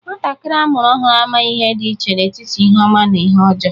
Nwantakiri a mụrụ ọhụrụ amaghị ihe di iche n'etiti ihe ọma na ihe ọjọọ.